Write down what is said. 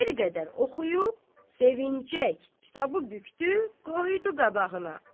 Bir qədər oxuyub, sevincək kitabı bükdü, qoydu qabağına.